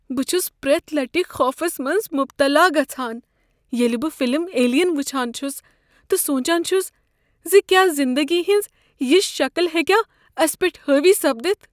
بہٕ چھس پرٛیتھ لٹہ خوفس منٛز مبتلا گژھان ییٚلہ بہٕ فلم "ایلین" وٕچھان چھس تہٕ سوچان چھس ز کیا زندگی ہنز یژھ شکل ہیکیا اسہ پیٹھ حاوی سپدتھ۔